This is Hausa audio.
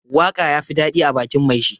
Waka ya fi dadi ã bakin mai shi.